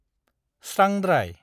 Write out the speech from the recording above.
स्रांद्राय।